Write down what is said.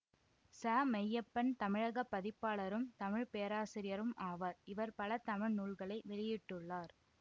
ச மெய்யப்பன் தமிழக பதிப்பாளரும் தமிழ் பேராசிரியரும் ஆவார் இவர் பல தமிழ் நூல்களை வெளியிட்டுள்ளார்